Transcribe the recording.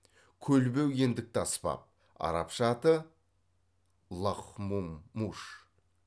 көлбеу ендікті аспап арапша аты лахмуммуж